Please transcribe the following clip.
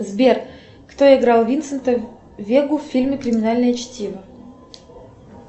сбер кто играл винсента вегу в фильме криминальное чтиво